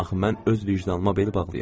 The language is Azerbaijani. Axı mən öz vicdanıma bel bağlayıram.